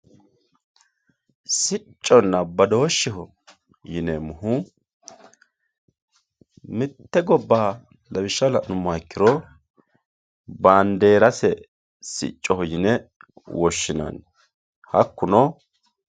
sicconna badooshsheho yineemohu mitte gobbaha lawishsha la'numoha ikkiro baandeerase siccoho yine woshshinanni hakkuno.